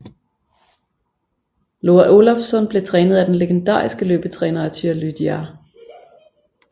Loa Olafsson blev trænet af den legendariske løbetræner Arthur Lydiard